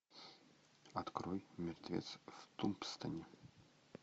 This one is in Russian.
открой мертвец в тумбстоуне